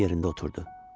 Gəlib yerində oturdu.